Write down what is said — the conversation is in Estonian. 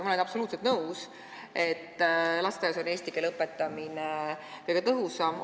Ma olen absoluutselt nõus, et lasteaias on eesti keele õpetamine kõige tõhusam.